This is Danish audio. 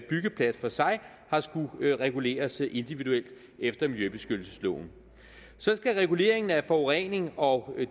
byggeplads for sig har skullet reguleres individuelt efter miljøbeskyttelsesloven reguleringen af forurening og